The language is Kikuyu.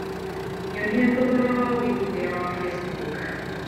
nyonĩa thogora wa wĩĩgĩthĩa wa Facebook